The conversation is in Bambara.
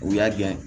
U y'a gɛn